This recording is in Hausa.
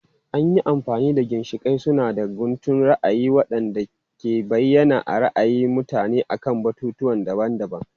An yi amfani da ginshiƙai suna da guntun ra'ayi waɗanda ke bayyana ra'ayi na mutum akan batutuwa daban-daban.